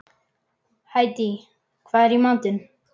Hædý, hvað er í matinn?